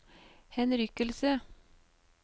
henrykkelse